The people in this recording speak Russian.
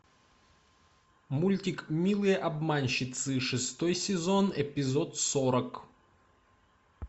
мультик милые обманщицы шестой сезон эпизод сорок